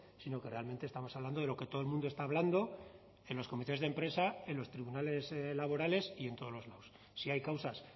sino que realmente estamos hablando de lo que todo el mundo está hablando en los comités de empresa en los tribunales laborales y en todos los lados si hay causas